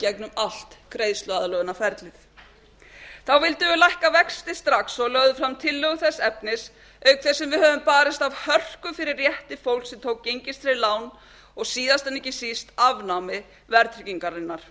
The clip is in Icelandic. gegnum allt greiðsluaðlögunarferlið þá vildum við lækka vexti strax og lögðum fram tillögu þess efnis auk þess sem við höfum barist af hörku fyrir rétti fólks sem tók gengistryggð lán og síðast en ekki síst afnámi verðtryggingarinnar